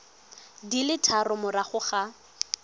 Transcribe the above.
di le tharo morago ga